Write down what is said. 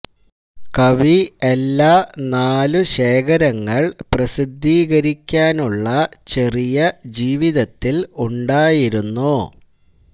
കവി എല്ലാ നാലു ശേഖരങ്ങൾ പ്രസിദ്ധീകരിക്കാനുള്ള ചെറിയ ജീവിതത്തിൽ ഉണ്ടായിരുന്നു